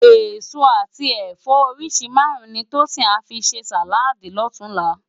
Esó ati ẹfọ óriṣi márùn ni Tosin à fi sé sáládì lòtúnlá